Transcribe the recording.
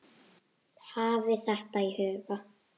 Hafið þetta í huga.